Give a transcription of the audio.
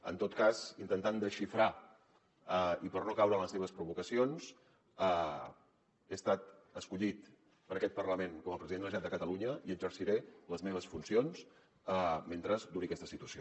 en tot cas intentant desxifrar i per no caure en les seves provocacions he estat escollit per aquest parlament com a president de la generalitat de catalunya i exerciré les meves funcions mentre duri aquesta situació